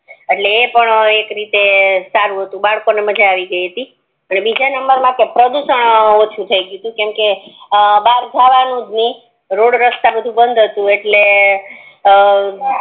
એટલે ઈ પણ એક રીતે સારું હતુ બરપણ મા મજા આવી ગઈ હતી બીજા નંબર મા પ્રદૂષણ ઓછું થી ગયું ટુ કેમકે બાર જવાનુજ નય રોડ રસ્તા બધુ બંધ હતુ એટલ અમ